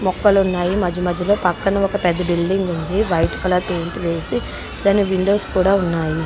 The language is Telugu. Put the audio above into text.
మొక్కలున్నాయి మధ్య మధ్య లో పక్కన ఒక పెద్ద బిల్డింగ్ ఉంది. వైట్ కలర్ పెయింట్ వేసి దాని విండోస్ కూడా ఉన్నాయి.